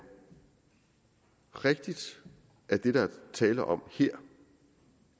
rigtigt at det der er tale om her